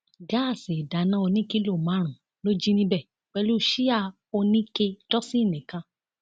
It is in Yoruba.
gáàsì ìdáná ọnì kìlọ márùnún ló jí níbẹ pẹlú síà oníke dósinni kan